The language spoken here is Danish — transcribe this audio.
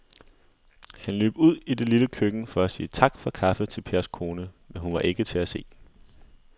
Han løb ud i det lille køkken for at sige tak for kaffe til Pers kone, men hun var ikke til at se.